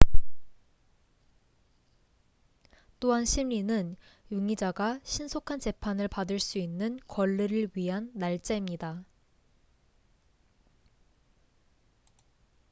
또한 심리는 용의자가 신속한 재판을 받을 수 있는 권리를 위한 날짜입니다